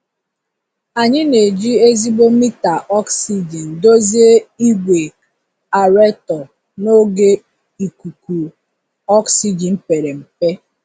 Anyị na-eji ezigbo mita ọksijin dozie igwe aerator n'oge ikuku ọksijin pere mpe.